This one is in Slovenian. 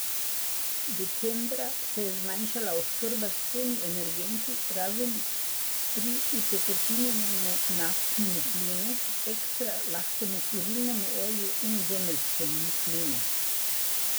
Decembra se je zmanjšala oskrba z vsemi energenti, razen pri utekočinjenemu naftnemu plinu, ekstra lahkemu kurilnemu olju in zemeljskemu plinu.